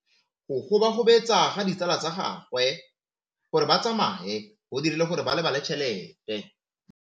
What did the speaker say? Go gobagobetsa ga ditsala tsa gagwe, gore ba tsamaye go dirile gore a lebale tšhelete.